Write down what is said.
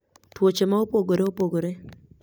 Tuoche ma opogore opogore